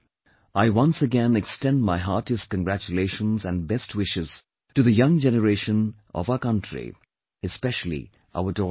I once again extend my heartiest congratulations and best wishes to the young generation of our country, especially our daughters